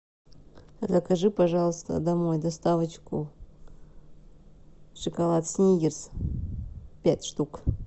закажи пожалуйста домой доставочку шоколад сникерс пять штук